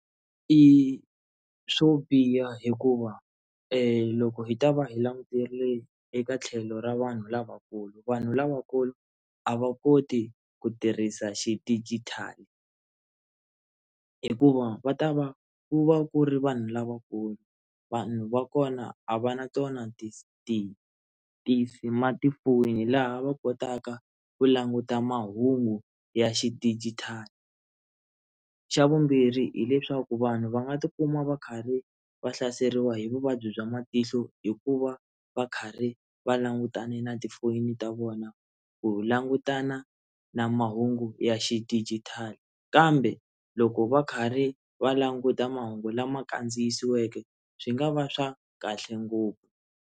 I swo biha hikuva loko hi ta va hi langutile eka tlhelo ra vanhu lavakulu vanhu lavakulu a va koti ku tirhisa xidijitali hikuva va ta va ku va ku ri vanhu lavakulu vanhu va kona a va na tona ti ti ti ti-smartphone-i laha va kotaka ku languta mahungu ya xidijitali xa vumbirhi hileswaku vanhu va nga tikuma va karhi va hlaseriwa hi vuvabyi bya matihlo hikuva va karhi va langutane na tifoni ta vona ku langutana na mahungu ya xidijitali kambe loko va karhi va languta mahungu lama kandziyisiweke swi nga va swa kahle ngopfu.